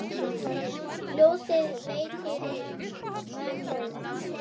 Ljósið veitir mönnum sýn.